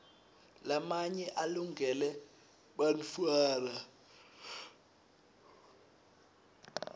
lamaye alungele bantfuara